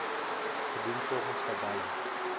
gedoen volgens tabelle